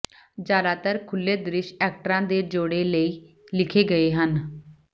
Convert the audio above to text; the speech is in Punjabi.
ਜ਼ਿਆਦਾਤਰ ਖੁੱਲ੍ਹੇ ਦ੍ਰਿਸ਼ ਐਕਟਰਾਂ ਦੇ ਜੋੜੇ ਲਈ ਲਿਖੇ ਗਏ ਹਨ